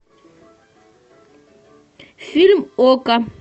фильм окко